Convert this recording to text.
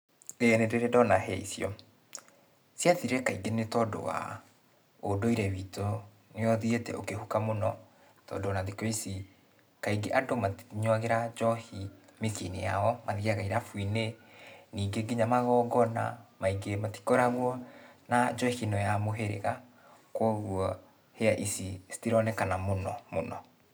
Ĩĩ nĩndĩrĩ ndona hĩa icio. Ciathirire kaingĩ nĩtondũ wa, ũndũire witũ nĩũthiĩte ũkĩhuka mũno, tondũ ona thikũ ici, kaingĩ andũ matinyuagĩra njohi mĩciĩ-inĩ yao, mathiaga irabu-inĩ. Ningĩ, kinya magongona maingĩ matikoragũo na njohi ĩno ya mũhĩrĩga, kuoguo hĩa ici citironekana mũno mũno.